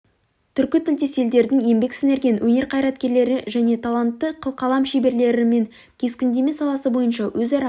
түркі тілдес елдердің еңбек сіңірген өнер қайраткерлері жне талантты қылқалам шеберлерімен кескіндеме саласы бойынша өзара